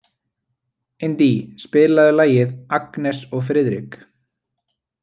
Indí, spilaðu lagið „Agnes og Friðrik“.